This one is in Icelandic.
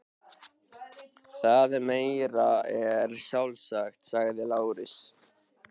Það er meira en sjálfsagt, sagði Lárus.